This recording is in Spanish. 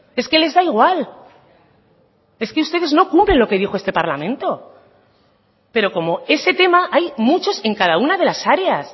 es que les da igual es que ustedes no cumplen lo que dijo este parlamento pero como ese tema hay muchos en cada una de las áreas